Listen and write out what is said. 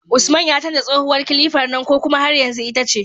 Usman ya canja tsohuwar kilifar nan ko kuma har yanzu ita ce?